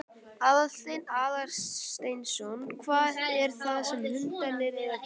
Aðalsteinn Aðalsteinsson: Hvað er það sem hundarnir eru að gera?